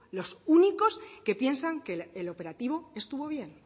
los únicos que piensan que el operativo estuvo bien